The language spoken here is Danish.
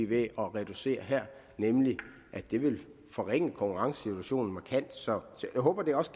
ved at reducere her nemlig at det vil forringe konkurrencesituationen markant så jeg håber at vi også